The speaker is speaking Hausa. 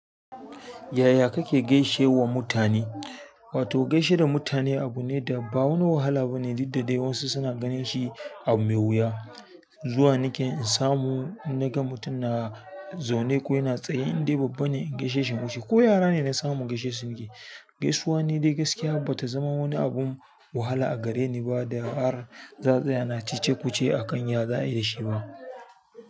Yaya kake gaishe wa mutane? Wato gaishe da mutane abu ne da ba wani wahala bane, didda dai wasu suna ganin shi abu mai wuya. Zuwa nake in samu, in na ga mutum na zaune ko yana tsaye in dai babba ne in gaishe shi nike ko yara ne na samu in gaishe su ni ke. Gaisuwa ne dai gaskiya bata zama wani abin wahala a gare ni ba da har, za a tsaya ana cece-kuce akan ya za ayishiba.